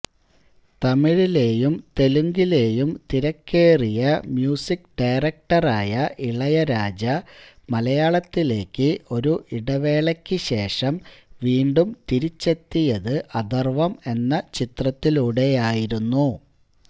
തമിഴിലെയും തെലുങ്കിലെയും തിരക്കേറിയ മ്യൂസിക് ഡയറക്ടറായ ഇളയരാജ മലയാളത്തിലേക്ക് ഒരു ഇടവേളയ്ക്ക് ശേഷം വീണ്ടും തിരിച്ചെത്തിയത് അഥര്വ്വം എന്ന ചിത്രത്തിലൂടെയായിരുന്നു